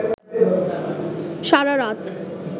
সারারাত